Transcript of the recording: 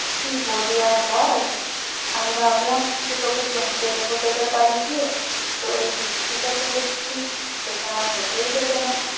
কি বলি আর বল? আমি ভাবলাম যে তোকে চমকে দেব তোদের বাড়ি গিয়ে তো এই বৃষ্টি তা তো দেখছি সেটা আর হতেই দেবে না।